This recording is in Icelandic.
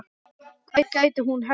Hvar gæti hún helst verið?